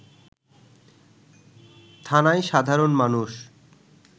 থানায় সাধারণ মানুষ